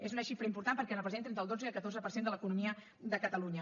és una xifra important perquè representa entre el dotze i el catorze per cent de l’economia de catalunya